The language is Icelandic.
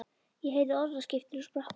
Ég heyrði orðaskiptin og sprakk úr hlátri.